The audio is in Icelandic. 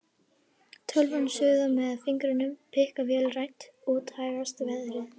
Tölvan suðar meðan fingurnir pikka vélrænt, úti hægist veðrið.